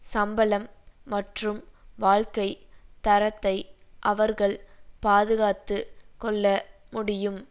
சம்பளம் மற்றும் வாழ்க்கை தரத்தை அவர்கள் பாதுகாத்து கொள்ள முடியும்